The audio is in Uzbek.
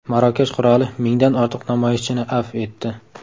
Marokash qiroli mingdan ortiq namoyishchini afv etdi.